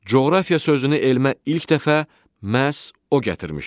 Coğrafiya sözünü elmə ilk dəfə məhz o gətirmişdir.